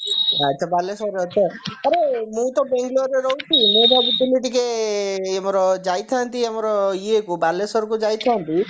ଏଥର ବାଲେଶ୍ବରରେ ଅଛ ଆରେ ମୁଁ ତ ବାଙ୍ଗାଲୋରେ ରହୁଛି ମୁଁ ଭାବୁଥିଲି ଟିକେ ଆଁ ଆମର ଯାଇଥାନ୍ତି ଆମର ଇଏକୁ ବାଲେଶ୍ବରକୁ ଯାଇଥାନ୍ତି